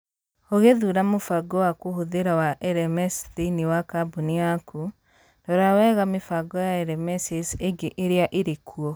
Ũgĩthuura mũbango wa kũhũthĩra wa LMS thĩinĩ wa kambuni yaku, rora wega mĩbango ya LMSs ĩngĩ ĩrĩa ĩrĩkuo